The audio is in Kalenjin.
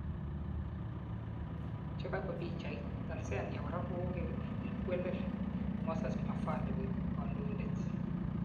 Chegaipu pichait, Tanzania kora kokowelel Moses Mavhali koip kandoitet